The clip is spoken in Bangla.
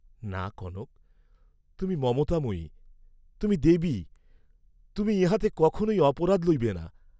না, কনক, তুমি মমতাময়ী, তুমি দেবী, তুমি ইহাতে কখনই অপরাধ লইবে না।